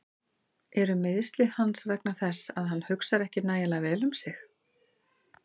Eru meiðsli hans vegna þess að hann hugsar ekki nægilega vel um sig?